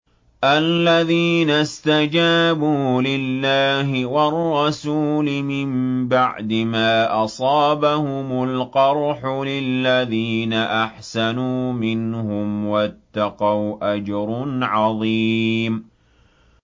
الَّذِينَ اسْتَجَابُوا لِلَّهِ وَالرَّسُولِ مِن بَعْدِ مَا أَصَابَهُمُ الْقَرْحُ ۚ لِلَّذِينَ أَحْسَنُوا مِنْهُمْ وَاتَّقَوْا أَجْرٌ عَظِيمٌ